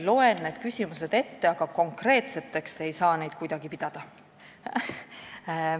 Loen tõesti need küsimused ette, aga konkreetseteks ei saa neid kuidagi pidada.